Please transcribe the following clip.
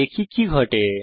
দেখি কি ঘটে